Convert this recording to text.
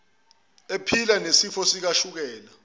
ephila nesifo sikashukela